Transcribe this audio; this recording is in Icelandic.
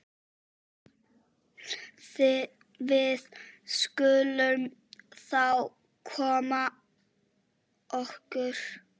Við skulum þá koma okkur.